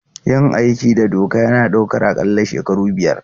Yin aiki da doka yana ɗaukar aƙalla shekaru biyar.